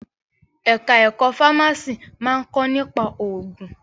Ẹ̀ka ẹ̀kọ́ fámásì máa ń kọ́ nípa òògùn.